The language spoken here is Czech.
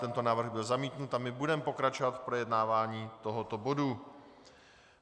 Tento návrh byl zamítnut a my budeme pokračovat v projednávání tohoto bodu.